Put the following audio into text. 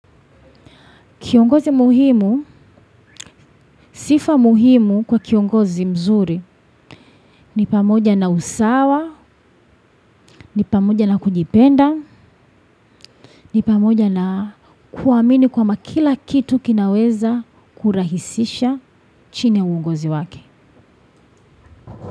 Kiongozi muhimu, sifa muhimu kwa kiongozi mzuri, ni pamoja na usawa, ni pamoja na kujipenda, ni pamoja na kuamini kwamba kila kitu kinaweza kurahisisha chini ya uongozi wake.